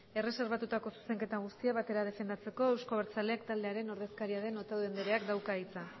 erreserbatutako zuzenketak guztiak batera defendatzeko euzko abertzaleak taldearen ordezkaria den otadui andereak dauka hitza